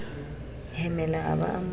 hemela a ba a mo